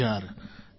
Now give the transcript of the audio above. ૩૦ હજાર